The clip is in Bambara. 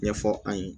Ɲɛfɔ an ye